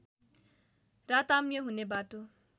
राताम्य हुने बाटो